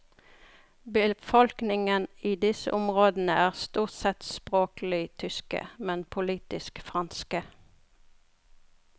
Befolkningen i disse områdene er stort sett språklig tyske, men politisk franske.